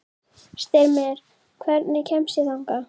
Styrmir, hvernig kemst ég þangað?